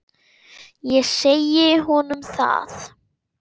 Ég segi honum það.